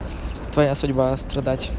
твоя судьба страдать